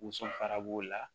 Woson fara b'o la